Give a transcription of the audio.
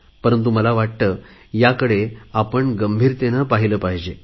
परंतु मला वाटते याकडे गंभीरतेने बघितले पाहिजे